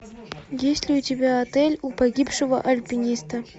есть ли у тебя отель у погибшего альпиниста